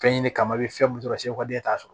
Fɛn ɲini kama i bɛ fɛn mun sɔrɔ e t'a sɔrɔ